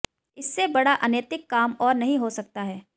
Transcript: इससे बड़ा अनैतिक काम और नहीं हो सकता है